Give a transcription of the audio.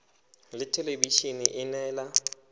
ya thelebi ene e neela